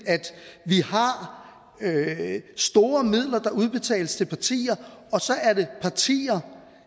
at vi store midler der udbetales til partier og så er det partierne